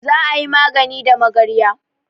Za a yi magani da magarya.